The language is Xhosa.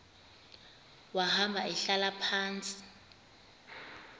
wahamba ehlala phantsi